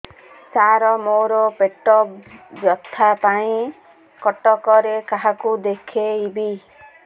ସାର ମୋ ର ପେଟ ବ୍ୟଥା ପାଇଁ କଟକରେ କାହାକୁ ଦେଖେଇବି